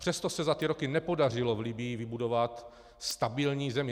Přesto se za ty roky nepodařilo v Libyi vybudovat stabilní zemi.